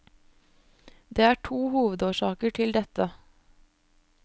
Det er to hovedårsaker til dette.